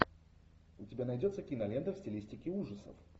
у тебя найдется кинолента в стилистике ужасов